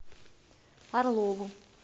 орлову